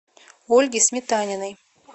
ольге сметаниной